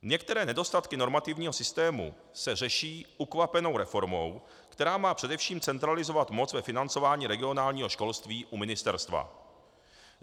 Některé nedostatky normativního systému se řeší ukvapenou reformou, která má především centralizovat moc ve financování regionálního školství u ministerstva.